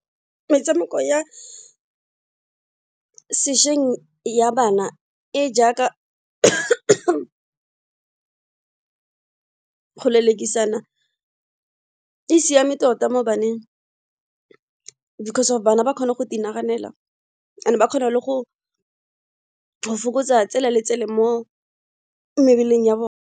Metshameko ya sešweng ya bana e jaaka go lelekisana e siame tota mo baneng because of bana ba kgona go naganela ba kgone le go fokotsa tsela le tsele mo mebeleng ya bona.